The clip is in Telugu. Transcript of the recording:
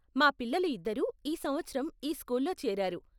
మా పిల్లలు ఇద్దరూ ఈ సంవత్సరం ఈ స్కూల్లో చేరారు.